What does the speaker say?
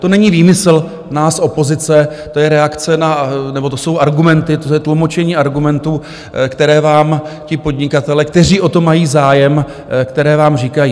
To není výmysl nás opozice, to je reakce na... nebo to jsou argumenty, to je tlumočení argumentů, které vám ti podnikatelé, kteří o to mají zájem, které vám říkají.